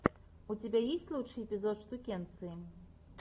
у тебя есть лучший эпизод штукенции